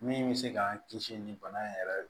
Min bɛ se k'an kisi ni bana in yɛrɛ ye